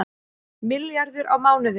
Milljarður á mánuði